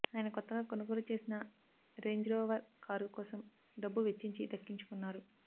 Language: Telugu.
ఆయన కొత్తగా కొనుగోలు చేసిన రేంజ్రోవర్ కారు కోసం డబ్బు వెచ్చించి దక్కించుకున్నారు